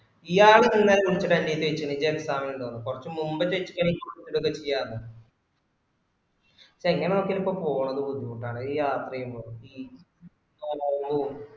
ഇയാള് ഇന്നല വിളിച്ചിട്ട് എന്ഡേഡ്ത് ചോയ്ച്ചീന് ഇൻക് exam ഇണ്ടോന്ന്കൊ റച് മുൻപ് ചോയ്ച്ചകേന് നിക് എന്തേലും ചെയ്യാരുന്നു ഇത് എങ്ങനാ നോക്യാലും ഇപ്പൊ പൊണത് ബുദ്ധിമുട്ടാണ് ഈ യാത്ര ചെയ്യുമ്പോ ഈ